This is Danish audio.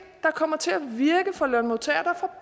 der kommer til at virke for lønmodtagerne